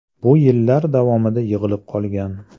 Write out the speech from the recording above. Bu yillar davomida yig‘ilib qolgan.